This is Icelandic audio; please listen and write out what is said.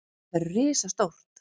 Þetta verður risastórt.